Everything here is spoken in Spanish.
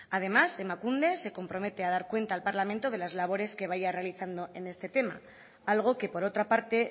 además emakunde se compromete a dar cuenta al parlamento de las labores que vaya realizando en este tema algo que por otra parte